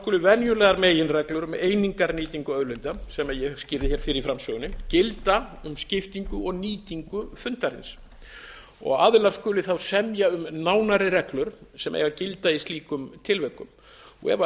skulu venjulegar meginreglur um einingarnýtingu auðlinda sem ég skýrði hér fyrr í framsögunni gilda um skiptingu og nýtingu fundarins aðilar skulu semja um nánari reglur sem gilda eiga í slíkum tilvikum ef